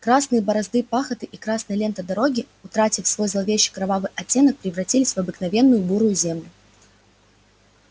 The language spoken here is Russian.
красные борозды пахоты и красная лента дороги утратив свой зловеще-кровавый оттенок превратились в обыкновенную бурую землю